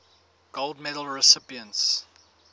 gold medal recipients